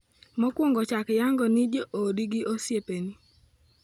Mokuongo chak yango ni joodi gi osiepeni.